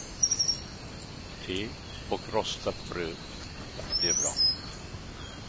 Te och rostat bröd blir bra.